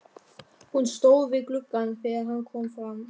Hún stóð við gluggann þegar hann kom fram.